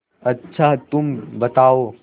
अच्छा तुम बताओ